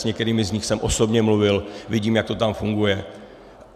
S některými z nich jsem osobně mluvil, vidím, jak to tam funguje.